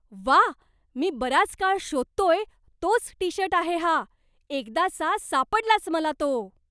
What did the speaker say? व्वा! मी बराच काळ शोधतोय तोच टी शर्ट आहे हा. एकदाचा सापडलाच मला तो.